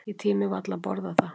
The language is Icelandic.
Ég tími varla að borða það.